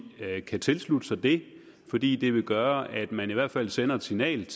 kan tilslutte sig det fordi det vil gøre at man i hvert fald sender et signal